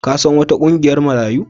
Ka san wata ƙungiyar Marayu?